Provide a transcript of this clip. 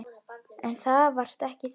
En það varst ekki þú.